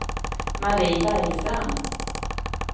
Marie Bergstrand